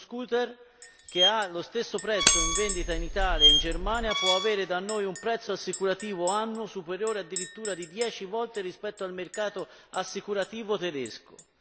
Uno scooter che ha lo stesso prezzo in vendita in Italia o in Germania, ma può avere da noi un prezzo assicurativo annuo superiore addirittura di 10 volte rispetto al mercato assicurativo tedesco.